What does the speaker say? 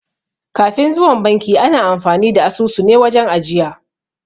Kafin zuwan banki ana amfani da asusune wajen ajiya